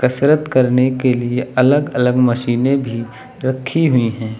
कसरत करने लिए अगल अलग मशीनें भी रखी हुई हैं।